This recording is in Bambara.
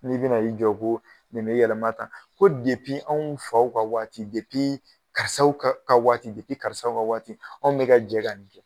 N'i bɛna i jɔ ko nin be yɛlɛma tan, ko depi anw faw ka waati depii karisaw ka ka waati depi karisaw ka waati anw bɛ ka jɛ ka nin kɛ.